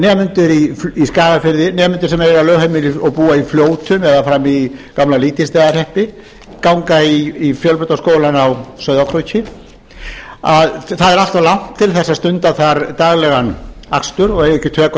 nemendur í skagafirði nemendur sem eiga lögheimili og búa í fljótum eða frammi í gamla lýtingsstaðahreppi ganga í fjölbrautaskólann á sauðárkróki að það er allt of langt til að stunda þar daglegan akstur og eiga ekki tök á